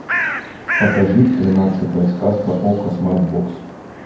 покажи тринадцатая сказка окко смарт бокс